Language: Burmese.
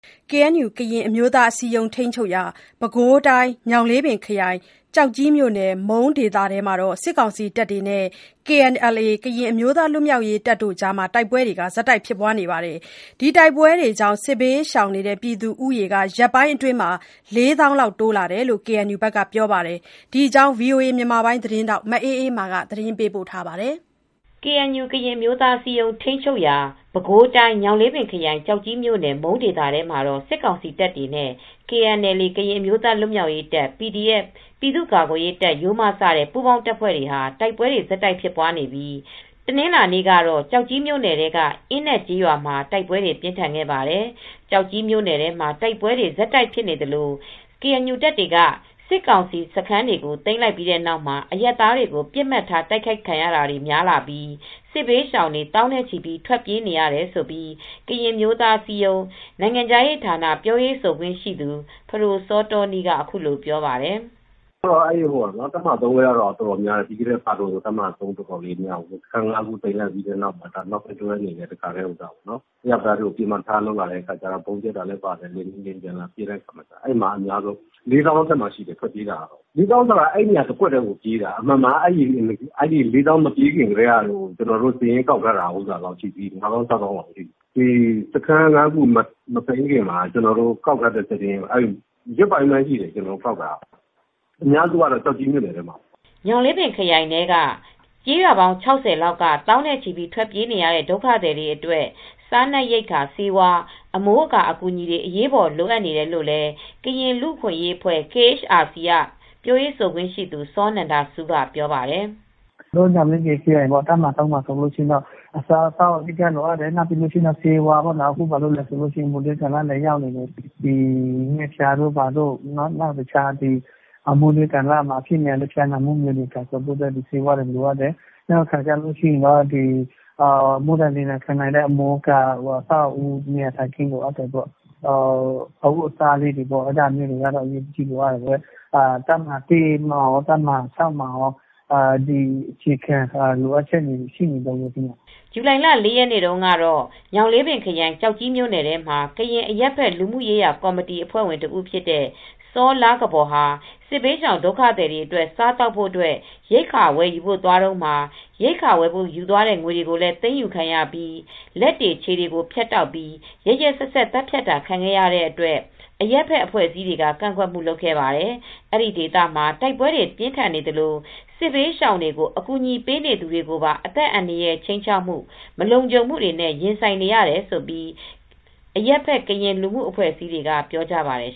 KNU ကရင်အမျိုးသားအစည်းအရုံး ထိန်းချုပ်ရာ ပဲခူးတိုင်း ညောင်လေးပင်ခရိုင် ကျောက်ကြီးမြို့နယ် မုန်းဒေသထဲမှာ စစ်ကောင်စီတပ်တွေနဲ့ KNLA ကရင်အမျိုးသားလွတ်မြောက်ရေးတပ်တို့ တိုက်ပွဲတွေ ဆက်တိုက်ဖြစ်ပွားနေပြီး စစ်ဘေးရှောင် ဦးရေဟာ ရက်ပိုင်းအတွင်း ၄ သောင်းလောက်တိုးလာတယ်လို့ KNU ဘက်ကပြောပါတယ်။ ဒီသတင်းကို ဗွီအိုအေသတင်းထောက် မအေးအေးမာက သတင်းပေးပို့ထားပါတယ်။ KNU ကရင်အမျိုးသားအစည်းအရုံး ထိန်းချုပ်ရာ ပဲခူးတိုင်း ညောင်လေးပင်ခရိုင် ကျောက်ကြီးမြိုနယ် မုန်းဒေသထဲမှာ စစ်ကောင်စီတပ်တွေနဲ့ KNLA ကရင်အမျိုးသားလွတ်မြောက်ရေးတပ်၊ PDF ပြည်သူ့ကာကွယ်ရေးတပ် စတဲ့ ပူးပေါင်းတပ်ဖွဲ့တွေ တိုက်ပွဲဆက်တိုက်ဖြစ်ပွားနေပြီး တနင်္လာနေ့ကတော့ ကျောက်ကြီးမြို့ နယ်ထဲ အင်းနက်ကျေးရွာမှာ တိုက်ပွဲတွေပြင်းထန်ခဲ့ပါတယ်။ ကျောက်ကြီးမြို့နယ် ထဲမှာ တိုက်ပွဲတွေ ဆက်တိုက်ဖြစ်နေသလို KNU တပ်တွေက စစ်ကောင်စီ စခန်းတွေကို သိမ်းလိုက်ပြီးတဲ့နောက်မှာ အရပ်သားတွေကို ပစ်မှတ်ထားတိုက်ခိုက်ခံရတာတွေများလာပြီး စစ်ဘေးရှောင်တွေ သောင်းနဲ့ချီပြီး ထွက်ပြေးနေရတယ်လို့ ကရင်အမျိုးသားအစည်းအရုံးနိုင်ငံခြားရေးဌာန ပြောရေးဆိုခွင့်ရှိသူ ဖဒိုစောတောနီးက ပြောပါတယ်။ “တပ်မဟာ ဘက်ကတော့ အတော်များတယ်။ တပ်မဟာ မှာ စခန်း ခုလောက်ကို သိမ်းလိုက်ပြီးတဲ့နောက်မှာ အရပ်သားတွေကို ပစ်မှတ်ထားလာတယ်။ ဗုံးကြဲတာလည်းပါတယ်။ လေယာဉ်တွေ လာပစ်တာလည်းပါတယ်။ အဲဒီမှာ စစ်ဘေးရှောင်ဒုက္ခသည် ၄ သောင်းအထက်မှာရှိတယ်။ အမှန်က အဲဒီ ၄ သောင်းလောက် မပြေးခင်ကတည်းက ကျနော်တို့စာရင်းကောက်ထားတာက ၅ သောင်း - ၆ သောင်းလောက်ရှိတယ်။ စခန်း ၅ ခု မသိမ်းခင်ကတည်းက ကောက်ထားတဲ့စာရင်းက ရက်ပိုင်းလောက်ပဲရှိသေးတယ်။ ကောက်ထားတာ အများစုကတော့ ကျောက်ကြီးမြို့နယ်ထဲမှာပဲ။” ညောင်လေးပင်ခရိုင်ထဲက ကျေးရွာပေါင်း ၆၀ လောက်က သောင်းနဲ့ချီပြီး ထွက်ပြေးနေရတဲ့ ဒုက္ခသည်တွေအတွက် စားနပ်ရိက္ခာဆေးဝါး အမိုးအကာအကူညီတွေအရေးပေါ်လိုအပ်နေတယ်လို့လည်း ကရင်လူ့အခွင့်ရေးအဖွဲ့ KHRC ကပြောရေးဆိုခွင့်ရှိသူ စောနန္ဒဆူးကပြောပါတယ်။ “ညောင်လေးပင်ခရိုင် တပ်မဟာ မှာက အစားအသောက်ကတော့ အဓိက လိုအပ်တယ်။ ဆေးဝါးလည်းလိုတယ်။ အခုက ငှက်ဖျားတွေဖြစ်တယ်။ နောက် တခြား မိုးတွင်းကာလမှာအဖြစ်များတဲ့ ဖျားနာမှုတွေအတွက်လည်း ဆေးဝါးတွေ လိုအပ်တယ်။ နောက်ပြီး မိုးဒဏ်လေဒဏ်ခံနိုင်တဲ့ အမိုးအကာတွေလည်း လိုအပ်တယ်။ တပ်မဟာ မှာကော၊ တပ်မဟာ မှာကော လိုအပ်ချက်တွေကတော့ ရှိနေတုန်းပါပဲ။” ဇူလိုင်လ ၄ ရက်နေ့တုန်းကတော့ ညောင်လေးပင်ခရိုင် ကျောက်ကြီးမြိုနယ်ထဲမှာကရင်အရပ်ဘက် လူမှုရေးရာကော်မတီက အဖွဲ့ဝင်တဦးဖြစ်တဲ့ စောလားကဘော် ဟာ စစ်ဘေးရှောင်ဒုက္ခသည်တွေအတွက် ရိက္ခာဝယ်ယူဖို့သွားတုန်းမှာ ရိက္ခာဝယ် ဖို့ယူမယ့် ငွေတွေလည်း သိမ်းယူခံရပြီး လက်တွေ ခြေတွေကိုဖြတ်တောက်ပြီး ရက်ရက်စက်စက် သတ်ဖြတ်တာခံခဲ့ရတဲ့အတွက် အရပ်ဖက်အဖွဲ့အစည်းတွေက ကန့်ကွက်ခဲ့ပါတယ်။ အဲဒီဒေသမှာ တိုက်ပွဲတွေပြင်းထန်နေသလို စစ်ဘေးရှောင်တွေကို အကူညီပေးနေသူတွေပါ အသက်အန္တာရာယ် ခြိမ်းခြောက်ခံရမှု၊ မလုံခြုံမှုတွေနဲ့ရင်ဆိုင်နေရတယ်လို့ အရပ်ဘက် ကရင်လူမှုအဖွဲ့အစည်းတွေကလည်း ပြောပါတယ်